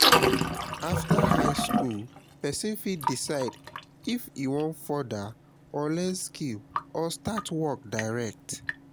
after high school persin fit decide if e won further or learn skill or start work direct